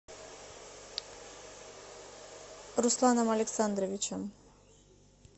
русланом александровичем